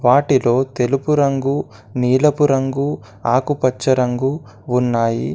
వాటిలో తెలుపు రంగు నీలపు రంగు ఆకుపచ్చ రంగు ఉన్నాయి.